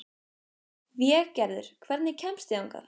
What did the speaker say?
Végerður, hvernig kemst ég þangað?